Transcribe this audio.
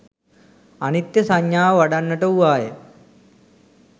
අනිත්‍ය සංඥාව වඩන්නට වූවාය.